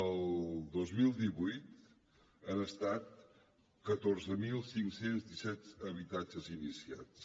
el dos mil divuit han estat catorze mil cinc cents i disset habitatges iniciats